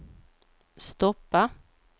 stoppa